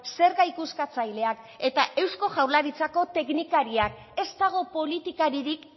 zerga ikuskatzaileak eta eusko jaurlaritzako teknikariak ez dago politikaririk